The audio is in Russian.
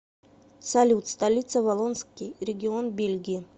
салют столица валлонский регион бельгии